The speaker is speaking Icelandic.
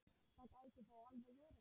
Það gæti þó alveg verið.